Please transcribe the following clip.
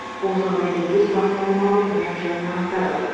бұл жағдайды өз бақылауыма алып мән жайын анықтадық